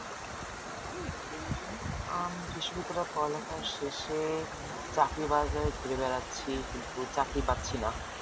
আম পড়ালেখার শেষে চাকরি ঘুরে বেড়াচ্ছি কিন্তু চাকরি পাচ্ছিনা